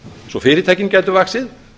svo að fyrirtækin gætu vaxið